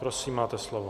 Prosím, máte slovo.